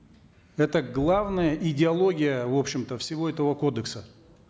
это главная идеология в общем то всего этого кодекса